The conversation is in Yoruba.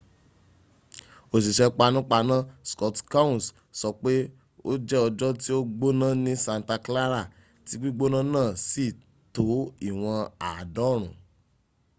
òṣìṣẹ́ panápaná scott kouns sọ pé ó jẹ́ ọjọ́ tí ó gbóná ni santa clara tí gbígbónà náà sí tó ìwọ̀n àádọ́rùn-ún